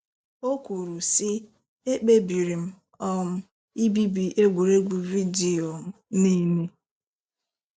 O kwuru, sị: “Ekpebiri m um ibibi egwuregwu vidio m niile.